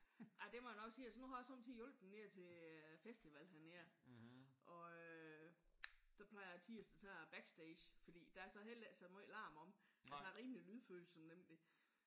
Ej det må jeg nok sige altså nu har jeg også somme tider hjulpet nede til festival hernede og øh der plejer jeg altid at så tage backstage fordi der er så heller ikke så meget larm omme. Altså jeg er rimelig lydfølsom nemlig